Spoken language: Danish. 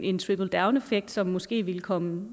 en trickle down effekt som måske ville komme